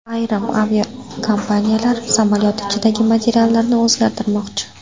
Ayrim aviakompaniyalar samolyot ichidagi materiallarni o‘zgartirmoqchi.